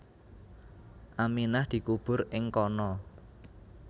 Aminah dikubur ing kana